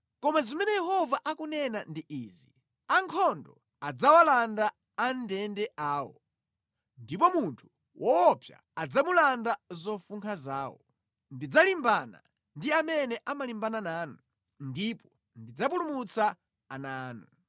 Koma zimene Yehova akunena ndi izi, “Ankhondo adzawalanda amʼndende awo, ndipo munthu woopsa adzamulanda zofunkha zawo; ndidzalimbana ndi amene amalimbana nanu, ndipo ndidzapulumutsa ana anu.